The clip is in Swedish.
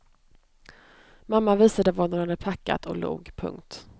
Mamma visade vad hon hade packat och log. punkt